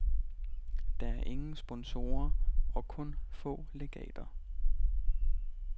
Der er ingen sponsorer og kun få legater.